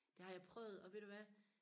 det har jeg prøvet og ved du hvad